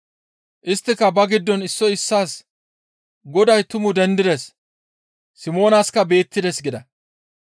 Isttika ba giddon issoy issaas, «Goday tumu dendides! Simoonaska beettides» gida.